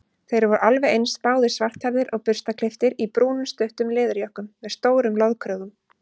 Þeir voru alveg eins, báðir svarthærðir og burstaklipptir í brúnum stuttum leðurjökkum með stórum loðkrögum.